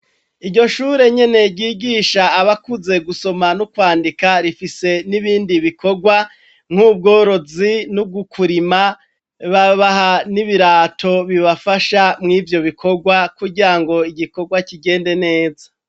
Iryo shure nyene ryigisha abakuze gusoma no kwandika rifise n'ibindi bikorwa nk'ubworozi no kurima babaha n'ibirato bibafasha mu'ivyo bikorwa kugira ngo igikorwa kigende neza.